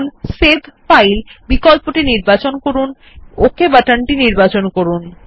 এখন save file বিকল্প নির্বাচন করুন এবং পপ আপ মেনু থেকে ওক বাটন টি নির্বাচন করুন